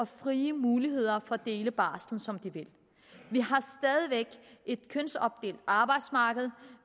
frie muligheder for at dele barslen som de vil vi har stadig væk et kønsopdelt arbejdsmarked